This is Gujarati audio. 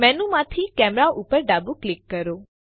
મેનુ માંથી કેમેરા ઉપર ડાબું ક્લિક કરો